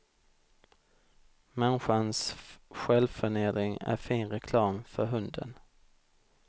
Människans självförnedring är fin reklam för hunden.